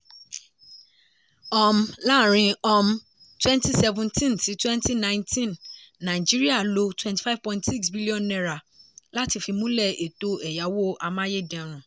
um láàrin um 2017 sí 2019 nàìjíríà lo n25.6bn láti fìmúlẹ̀ etò ẹ̀yáwó amáyédẹrùn.